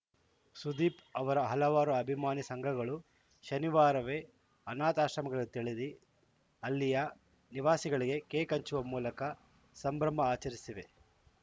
ಸುದೀಪ್‌ ಅವರ ಹಲವಾರು ಅಭಿಮಾನಿ ಸಂಘಗಳು ಶನಿವಾರವೇ ಅನಾಥಾಶ್ರಮಗಳತೆಳೆದಿ ಅಲ್ಲಿಯ ನಿವಾಸಿಗಳಿಗೆ ಕೇಕ್‌ ಹಚ್ಚು ವ ಮೂಲಕ ಸಂಭ್ರಮ ಆಚರಿಸಿವೆ